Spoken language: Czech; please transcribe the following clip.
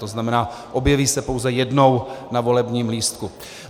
To znamená, objeví se pouze jednou na volebním lístku.